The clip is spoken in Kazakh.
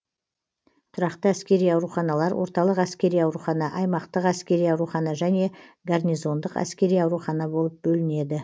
тұрақты әскери ауруханалар орталық әскери аурухана аймақтық әскери аурухана және гарнизондық әскери аурухана болып бөлінеді